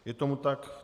Je tomu tak.